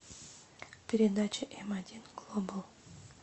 передача м один глобал